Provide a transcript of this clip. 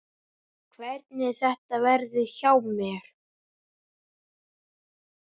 Hvernig þetta verði hjá mér.